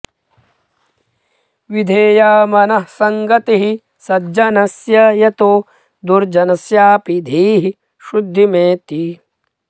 विधेया मनः संगतिः सज्जनस्य यतो दुर्जनस्यापि धीः शुद्धिमेति